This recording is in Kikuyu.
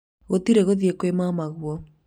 gũtirĩ gũthiĩ kũrĩ mamaguo